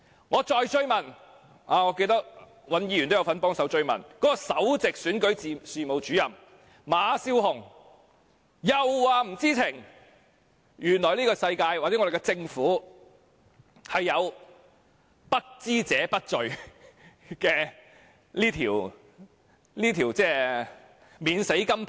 我再追問，我記得尹兆堅議員亦有幫忙追問，首席選舉事務主任馬笑虹亦表示不知情，原來我們的政府有不知者不罪這塊免死金牌。